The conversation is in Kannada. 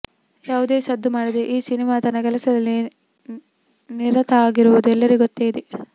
ಯಾವುದೇ ಸದ್ದು ಮಾಡದೆ ಈ ಸಿನಿಮಾ ತನ್ನ ಕೆಲಸದಲ್ಲಿ ನಿರತ ಆಗಿರುವುದು ಎಲ್ಲರಿಗು ಗೊತ್ತೇ ಇದೆ